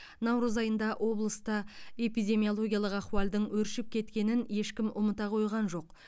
наурыз айында облыста эпидемиологиялық ахуалдың өршіп кеткенін ешкім ұмыта қойған жоқ